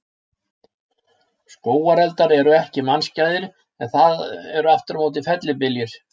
Skógareldar eru ekki mannskæðir, en það eru aftur á móti fellibyljir.